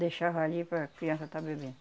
Deixava ali para a criança estar bebendo.